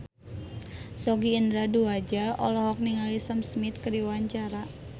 Sogi Indra Duaja olohok ningali Sam Smith keur diwawancara